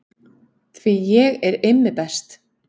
Því ég er Immi best